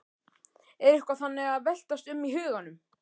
Er eitthvað þannig að veltast um í huganum?